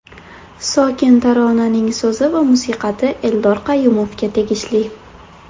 Sokin taronaning so‘zi va musiqasi Eldor Qayumovga tegishli.